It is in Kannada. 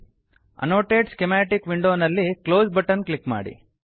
ಅನ್ನೋಟೇಟ್ ಸ್ಕಿಮಾಟಿಕ್ ವಿಂಡೋನಲ್ಲಿ ಕ್ಲೋಸ್ ಬಟನ್ ಕ್ಲಿಕ್ ಮಾಡಿ